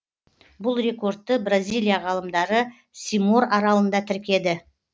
бұл рекордты бразилия ғалымдары симор аралында тіркеді